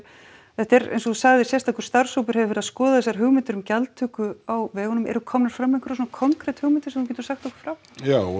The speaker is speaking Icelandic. þetta er eins og þú sagðir sérstakur starfshópur hefur verið að skoða þessar hugmyndir um gjaldtöku á vegunum eru komnar fram einhverjar svona konkret hugmyndir sem þú getur sagt okkur frá já og